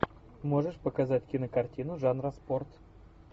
можешь показать кинокартину жанра спорт